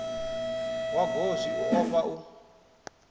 wa goswi u ofha u